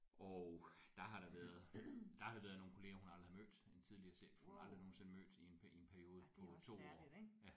Og der har der været der har der været nogle kollegaer hun aldrig har mødt en tidligere chef hun aldrig nogensinde mødt i en i en periode på 2 år ja